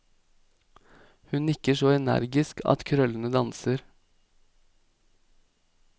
Hun nikker så energisk at krøllene danser.